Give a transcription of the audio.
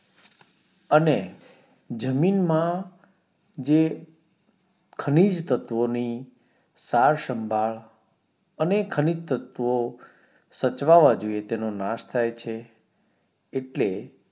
અને જમીન માં જે ખનીજ તત્વો ની સાર સંભાળ અને ખનીજ તત્વો સાચવવા જોઈએ તેનો નાશ થાય એટલે